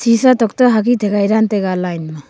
shisha tok toh agin dan taiga.